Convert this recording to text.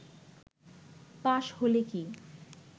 পাশ হলে কি